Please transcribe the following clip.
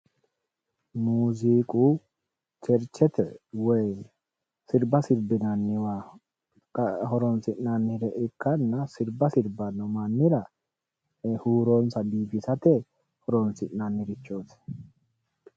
Muziiqu cherichete woyi sirba sirbinanniwa horonsi'nannire ikkanna sirba sirbano mannira huuronsa biifisate horonsi'nannirichoti.